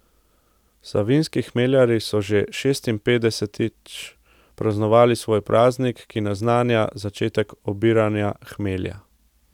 Savinjski hmeljarji so že šestinpetdesetič praznovali svoj praznik, ki naznanja začetek obiranja hmelja.